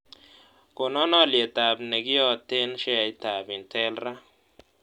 Konan olyetab negiyoten sheaisiekap intel raa